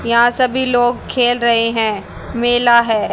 यहां सभी लोग खेल रहे हैं मेला है।